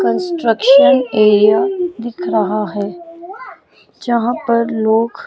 construction area दिख रहा है यहां पर लोग--